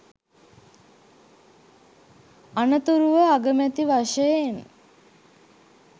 අනතුරුව අගමැති වශයෙන්